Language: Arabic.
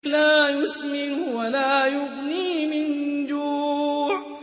لَّا يُسْمِنُ وَلَا يُغْنِي مِن جُوعٍ